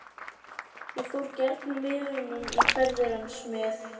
Ég fór gjarnan með honum í ferðir hans með